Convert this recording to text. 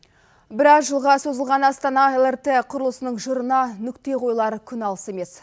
біраз жылға созылған астана лрт құрылысының жырына нүкте қойылар күн алыс емес